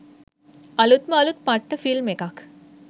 අළුත්ම අළුත් පට්ට ෆිල්ම් එකක්